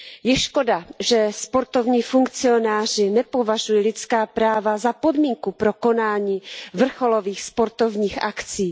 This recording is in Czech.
Je škoda, že sportovní funkcionáři nepovažují lidská práva za podmínku pro konání vrcholových sportovních akcí.